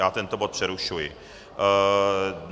Já tento bod přerušuji.